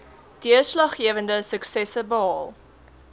deurslaggewende suksesse behaal